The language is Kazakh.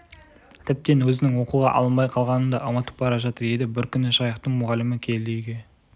тіптен өзінің оқуға алынбай қалғанын да ұмытып бара жатыр еді бір күні жайықтың мұғалімі келді үйге